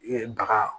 E baga